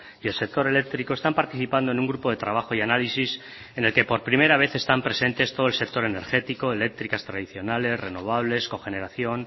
y el sector eléctrico están participando en un grupo de trabajo y análisis en el que por primera vez están presentes todo el sector energético eléctricas tradicionales renovables cogeneración